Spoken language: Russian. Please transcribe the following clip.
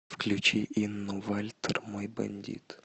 включи инну вальтер мой бандит